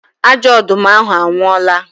Ajọ ọdụm ahụ anwụọla